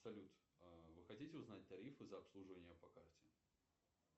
салют вы хотите узнать тарифы за обслуживание по карте